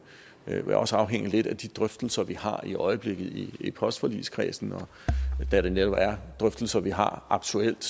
vil også afhænge lidt af de drøftelser vi har i øjeblikket i i postforligskredsen og da det netop er drøftelser vi har aktuelt